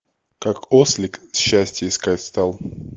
как ослик счастье искать стал